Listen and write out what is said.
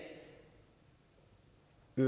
i